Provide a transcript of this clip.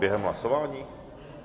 Během hlasování?